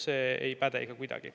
See ei päde ikka kuidagi.